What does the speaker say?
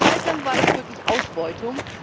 Eine Zeit lang war das wirklich Ausbeutung.